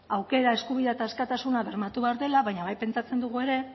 aukera eskubidea eta askatasuna bermatu behar dela baina bai pentsatzen dugu ere